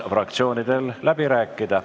Fraktsioonidel on võimalus läbi rääkida.